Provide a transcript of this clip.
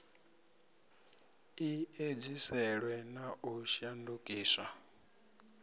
i edziselwe na u shandukiswa